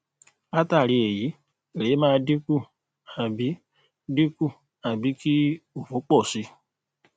latari eyi ere maa dinku abi dinku abi ki òfò pọ̀ si